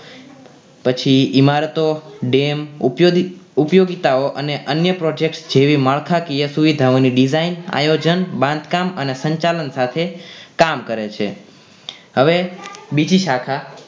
પછી ઇમારતો ડેમ ઉપયોગી ઉપયોગીતાઓ અન્ય project જેવી માળખાકીય સુવિધાઓ ની design આયોજન બાંધકામ અને સંચાલન સાથે કામ કરે છે હવે બીજી શાખા